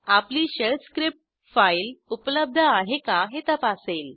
आपली shell script file उपलब्ध आहे का हे तपासेल